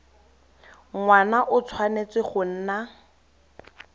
ngwana o tshwanetse go nna